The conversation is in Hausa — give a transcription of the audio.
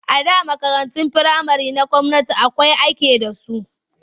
A da makarantun firamare na gwamnati kawai ake da su.